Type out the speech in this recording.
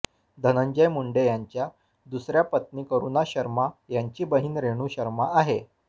धनंजय मुंडे यांच्या दुसऱ्या पत्नी करूणा शर्मा यांची बहिण रेणु शर्मा आहे